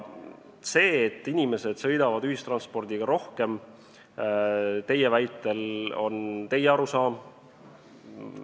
See, et inimesed sõidavad ühistranspordiga rohkem, on teie arusaam.